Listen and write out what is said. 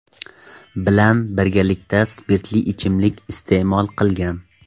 bilan birgalikda spirtli ichimlik iste’mol qilgan.